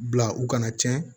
Bila u kana tiɲɛ